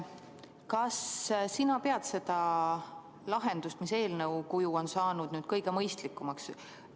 Kas sa pead seda lahendust, mis eelnõu kuju on saanud, kõige mõistlikumaks?